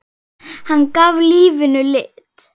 Hann gaf lífinu lit.